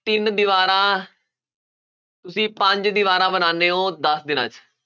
ਤਿੰਨ ਦੀਵਾਰਾਂ ਤੁਸੀਂ ਪੰਜ ਦੀਵਾਰਾਂ ਬਣਾਉਂਦੇ ਹੋ ਦਸ ਦਿਨਾਂ 'ਚ